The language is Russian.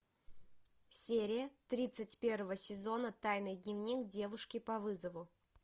серия тридцать первого сезона тайный дневник девушки по вызову